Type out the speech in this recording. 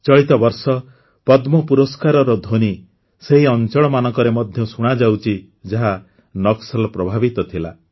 ଚଳିତ ବର୍ଷ ପଦ୍ମ ପୁରସ୍କାରର ଧ୍ୱନି ସେହି ଅଂଚଳମାନଙ୍କରେ ମଧ୍ୟ ଶୁଣାଯାଉଛି ଯାହା ନକ୍ସଲ ପ୍ରଭାବିତ ଥିଲା